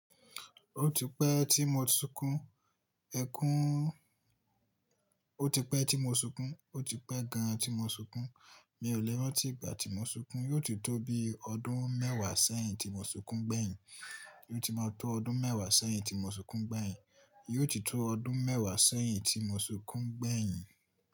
Ó ti pẹ́ tí mo ti sunkún, ẹkún ó ti pẹ́ tí mo sunkún, ó ti pẹ́ gan tí mo sunkún. Mi ò le rántí ìgbà tí mo sunkún, yóò ti tó bí ọdún mẹ́wàá sẹ́yìn tí mo sunkún gbẹ̀yìn. Yóò ti máa tó ọdún mẹ́wàá sẹ́yìn tí mo sunkún gbẹ̀yìn. Yóò ti tó ọdún mẹ́wàá sẹ́yìn tí mo sunkún gbẹ̀yìn.